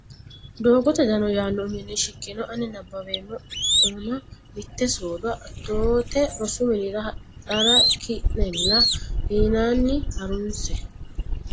Doogote Dano yaanno uminni shiqqino ani nabbaweemma ona Mitte soodo Atoote rosu minira hadhara ki ne la inanni ha runse.